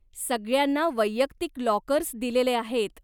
सगळ्यांना वैयक्तिक लाॅकर्स दिलेले आहेत.